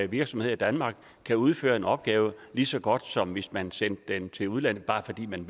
virksomheder i danmark kan udføre en opgave lige så godt som hvis man sendte den til udlandet bare fordi man